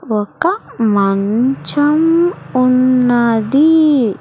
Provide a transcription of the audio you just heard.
ఒక మంచం ఉన్నది.